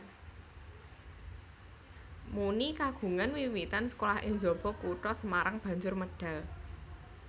Muny kagungan wiwitan sekolah ing njaba kutha Semarang banjur medal